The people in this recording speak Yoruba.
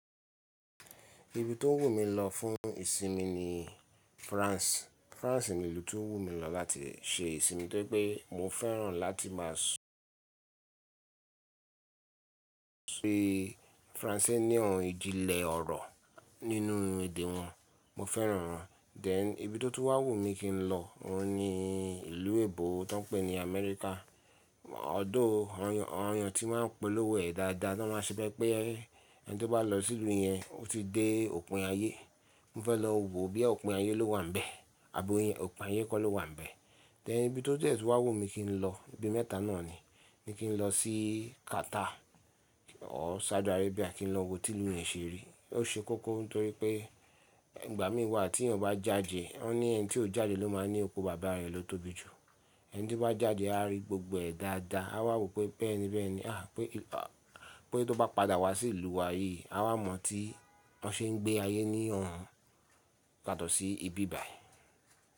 Ibi tó wù mí lọ fún ìsinmi ni France. France ni ìlú tó wù mí lọ láti ṣe ìsinmi torí pé mo fẹ́ràn láti máa su Franse ní ohun ìjìnlẹ̀ ọ̀rọ̀ nínú èdè wọn. Mo fẹ́ràn wọn dẹ̀ ibi tó tún wá wùmí kílọ. Òun ni ìlú èbó tan n pè ní Amẹ́ríkà. Odo ọ̀yàn tí máa ń polówó ẹ̀ dáadáa, tọ máa ń ṣe bẹ́ pé ẹni tó bá lọ sí ìlú yẹn, ó ti dé òpin ayé. Mo fẹ́ lọ wo bí òpin ayé lówa ń bẹ, àbí òpin ayé kọ́ ló wà nbẹ̀. Then ibí tó dẹ̀ tó wà wù mí kí n lọ, ibi mẹ́ta náà ni. Mi kí n lọ sí Qatar or Saudi Arabia, kí n lọ wo tí ìlú yẹn ṣe rí. Ó ṣe kókó n torí pé ìgbà mí wà tíyàn bá jáde, o ní ẹni tí ò jáde ló máa ń ní oko bàbá rẹ̀ ló tóbi jù. Ẹni tí bá jáde a rí gbogbo ẹ̀ dáadáa, a wà wò pé bẹ́ẹ̀ní bẹ́ẹ̀ni. Ah pé tó bá padà wá sí ìlú wa yí, a wà mọ̀ tí wọ́n ṣe ń gbé ayé ní lohun, yàtọ̀ sí ibi báyí.